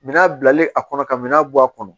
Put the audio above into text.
Minan bilalen a kɔnɔ ka minan bɔ a kɔnɔ